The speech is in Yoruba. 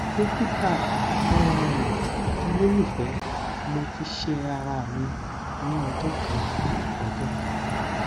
dokita um ololufẹ mo ti ṣe ara mi ni ọjọ kan ọjọ kan